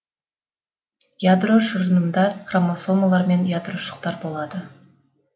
ядро шырынында хромосомалар мен ядрошықтар болады